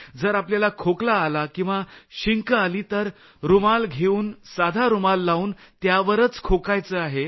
जर आपल्याला खोकला आला किंवा शिंक आली तर रूमाल घेऊन साधा रूमाल लावून त्यावरच खोकायचं आहे